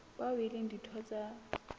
bao e leng ditho tsa